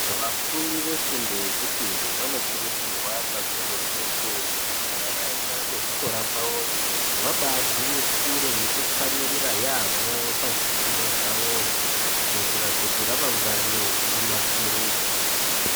Vafundi vefundo yechipiri vanokurudzirwa kakurutu kuti ,kana vaenda kuzvikora kwavoyo, vabaagwinyisire nekutsamwirira yamho pazvifundo zvavozvo, kuitira kuti ramangwani rinasirike.